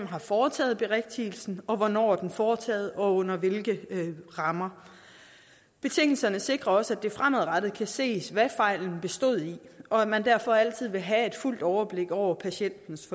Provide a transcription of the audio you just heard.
har foretaget berigtigelsen hvornår den er foretaget og under hvilke rammer betingelserne sikrer også at det fremadrettet kan ses hvad fejlen bestod i og at man derfor altid vil have fuldt overblik over patientens